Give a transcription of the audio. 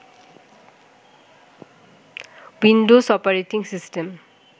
Windows operating system